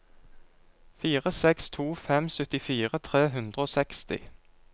fire seks to fem syttifire tre hundre og seksti